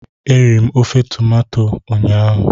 Eriri m ofe tomanto nyaa